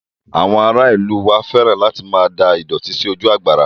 Àwọn ará ìlú u wa fẹ́ràn láti máa da ìdọ̀tí sí ojú àgbàrá